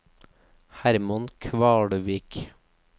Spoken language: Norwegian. Hermann Kvalvik